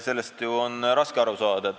Sellest on raske lõpuni aru saada.